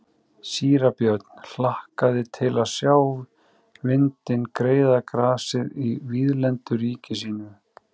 Síra Björn hlakkaði til að sjá vindinn greiða grasið í víðlendu ríki sínu.